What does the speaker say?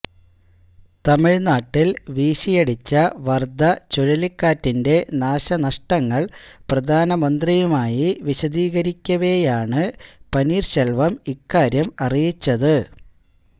തമിഴ്നാട്ടില് വീശിയടിച്ച വര്ധ ചുഴലിക്കാറ്റിന്റെ നാശനഷ്ടങ്ങള് പ്രധാനമന്ത്രിയുമായി വിശദീകരിക്കവെയാണ് പനീര്ശെല്വം ഇക്കാര്യം അറിയിച്ചത്